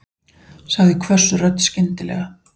sagði hvöss rödd skyndilega.